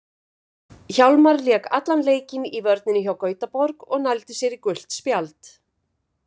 Hjálmar lék allan leikinn í vörninni hjá Gautaborg og nældi sér í gult spjald.